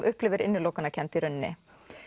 upplifir innilokunarkennd í rauninni